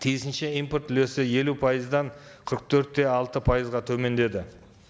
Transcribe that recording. тиісінше импорт үлесі елу пайыздан қырық төрт те алты пайызға төмендеді